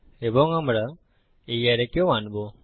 এবং আমরা এই অ্যারেকেও আনবো